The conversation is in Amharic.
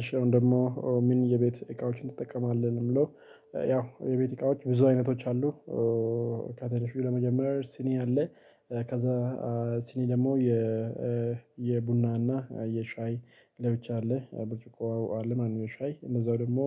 እሺ አሁን ደግሞ ምን የቤት እቃዎችን ትጠቀማለህ? ለሚለው ያው የቤት እቃዎች ብዙ አይነቶች አሉ። ክትንሹ ለመጀመር ሲኒ አለ ከዛ ሲኒ ደግሞ የ የቡና እና የሻይ ለብቻ አለ ብርጭቆ አለ ማለት ነው ለሻይ እንደዛው ደግሞ